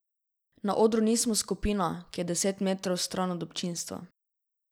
Na odru nismo skupina, ki je deset metrov stran od občinstva.